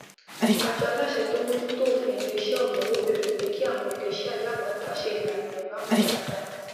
àjọaláṣẹ tó ń mojú tó òfin iléiṣẹ ọrọowó béèrè pé kí àwọn iléiṣẹ alágbàtà se ìlànà ìráhùn dáadáa